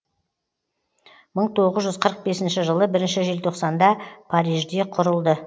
мың тоғыз жүз қырық бесінші жылы бірінші желтоқсанда парижде құрылды